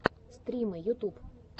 стримы ютуб